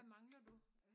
Hvad mangler du?